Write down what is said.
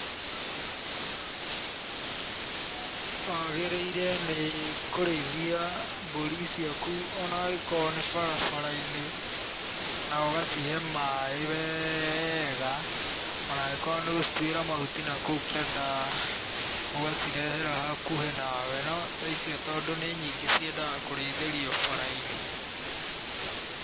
Wagĩrĩire nĩ kũrĩithia mbũri ciaku ona angĩkorwo nĩ barabara-inĩ, na ũgacihe maaĩ wega, ona angĩkorwo nĩ gũcitwĩra mahuti na kũu kĩanda ũgacirehera hakuhĩ na we. No ta icio tondũ nĩ nyingĩ ciendaga kũrĩithĩrio bara-inĩ.